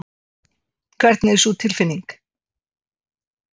Hvernig er sú tilfinning?